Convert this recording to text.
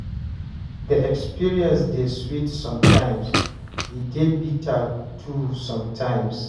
The experience dey sweet sometimes, e dey bitter too sometimes